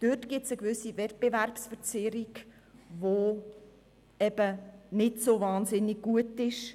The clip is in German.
Dort besteht eine gewisse Wettbewerbsverzerrung, welche nicht gut ist.